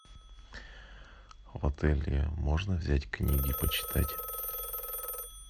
в отеле можно взять книги почитать